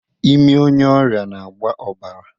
Imi onye ọrịa na-agba ọbara